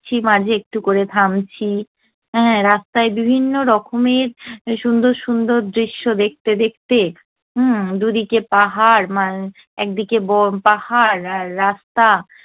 মাঝে একটু করে থামছি হে রাস্তায় বিভিন্ন রকমের সুন্দর সুন্দর দৃশ্য দেখতে দেখতে। হুম্ম, দুদিকে পাহাড় একদিকে পাহাড় আর রাস্তা।